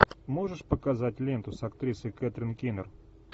можешь показать ленту с актрисой кетрин кинер